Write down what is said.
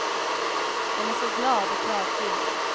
Den är så glad och kravfylld.